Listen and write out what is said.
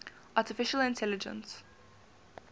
artificial intelligence